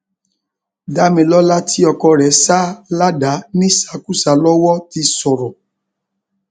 damilọla tí ọkọ rẹ sá ládàá nísàkuṣà lọwọ ti sọrọ